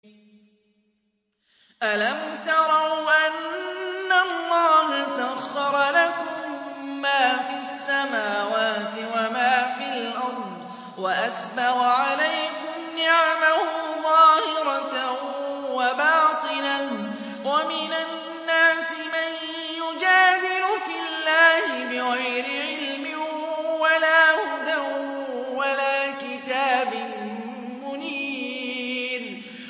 أَلَمْ تَرَوْا أَنَّ اللَّهَ سَخَّرَ لَكُم مَّا فِي السَّمَاوَاتِ وَمَا فِي الْأَرْضِ وَأَسْبَغَ عَلَيْكُمْ نِعَمَهُ ظَاهِرَةً وَبَاطِنَةً ۗ وَمِنَ النَّاسِ مَن يُجَادِلُ فِي اللَّهِ بِغَيْرِ عِلْمٍ وَلَا هُدًى وَلَا كِتَابٍ مُّنِيرٍ